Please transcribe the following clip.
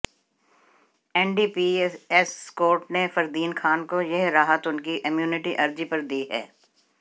NDPS court ने फरदीन खान को यह राहत उनकी इम्यूनिटी अर्जी पर दी है